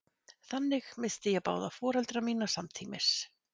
Þannig missti ég báða foreldra mína samtímis.